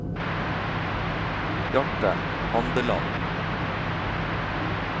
Bjarte Handeland